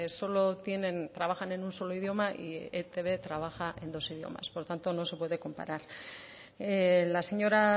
solo tienen trabajan en un solo idioma y etb trabaja en dos idiomas por lo tanto no se puede comparar la señora